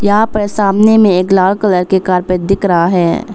यहां पर सामने में एक लाल कलर के कारपेट दिख रहा है।